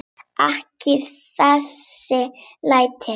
Ekki þessi læti.